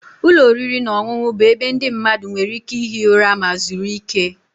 Ụlọ oriri na ọṅụṅụ bụ ebe ndị mmadụ nwere ike ihi ụra ma zuru ike